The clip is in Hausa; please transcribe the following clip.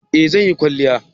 eh zan yi kwalliya